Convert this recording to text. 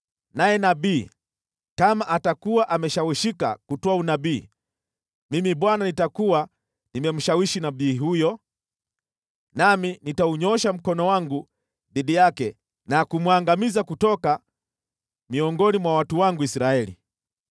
“ ‘Naye nabii kama atakuwa ameshawishika kutoa unabii, Mimi Bwana nitakuwa nimemshawishi nabii huyo, nami nitaunyoosha mkono wangu dhidi yake na kumwangamiza kutoka miongoni mwa watu wangu Israeli.